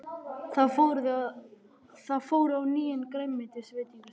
Þau fóru á nýjan grænmetisveitingastað.